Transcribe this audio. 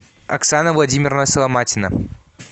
оксана владимировна соломатина